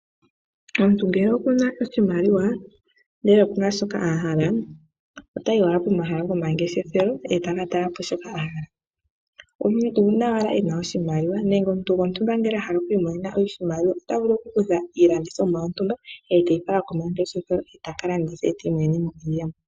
Omuntu ngele okuna oshimaliwa ndele okuna shoka a hala, otayi owala komahala gomangeshefelo e taka tala po shoka a hala. Omuntu uuna e na oshimaliwa nenge omuntu gontumba a hala oku imonena oshimaliwa ota vulu oku kutha iilandithomwa yontumba e teyi fala komangeshefelo, e taka landitha , e ti imonene mo iiyemo.